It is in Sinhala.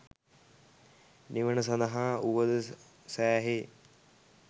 නිවන සඳහා උවද සෑහේ